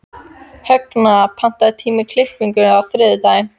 Högna, pantaðu tíma í klippingu á þriðjudaginn.